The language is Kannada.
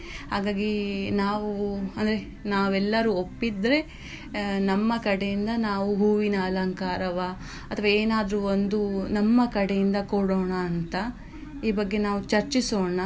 ಹಾಗಾಗಿ ನಾವು ಅಂದ್ರೆ ನಾವೆಲ್ಲಾರೂ ಒಪ್ಪಿದ್ರೆ ನಮ್ಮ ಕಡೆಯಿಂದ ನಾವು ಹೂವಿನ ಅಲಂಕಾರವ ಅಥ್ವಾ ಏನಾದ್ರು ಒಂದು ನಮ್ಮ ಕಡೆಯಿಂದ ಕೊಡೋಣ ಅಂತಾ ಈ ಬಗ್ಗೆ ನಾವು ಚರ್ಚಿಸೋಣ.